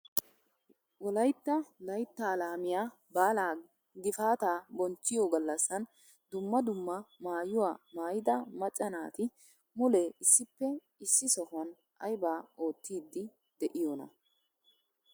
Wolaytta layttaa lamiyaa baalaa gifaataa bonchchiyoo gallaasan dumma dumma maayuwa maayida macca naati mulee issippe issi sohuwaan aybaa oottiidi de'iyoonaa?